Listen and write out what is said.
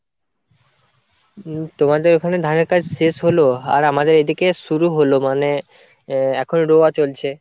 উম তোমাদের ওখানে ধানের কাজ শেষ হলো, আর আমাদের এদিকে শুরু হলো মানে আহ এখন রোয়া চলছে।